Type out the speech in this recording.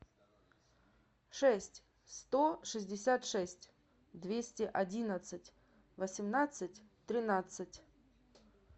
шесть сто шестьдесят шесть двести одиннадцать восемнадцать тринадцать